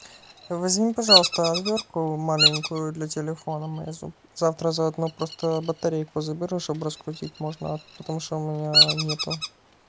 возьми пожалуйста отвёртку маленькую для телефона мейзу завтра заодно просто батарейку заберу чтобы раскрутить можно потому что у меня нету